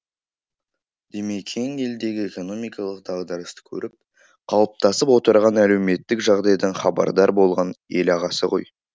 димекең елдегі экономикалық дағдарысты көріп қалыптасып отырған әлеуметтік жағдайдан хабардар болған елағасы ғой